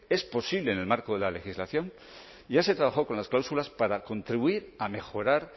es posible en el marco de la legislación ya se trabajó con las cláusulas para contribuir a mejorar